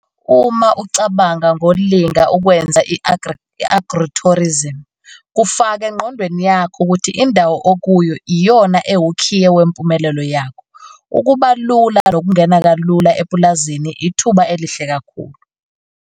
Uma ucabanga ngolinga ukwenza i-agritourism kufake engqondweni yakho ukuthi indawo okuyo iyona ewukhiye wempumelelo yakho. Ukuba lula nokungena kalula epulazini ithuba elihle kakhulu.